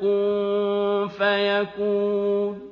كُن فَيَكُونُ